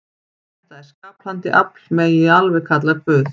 Þetta skapandi afl megi alveg kalla Guð.